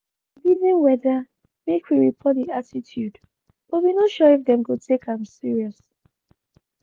we bin dey reason whether make we report di attitude but we no sure if dem go take am serious.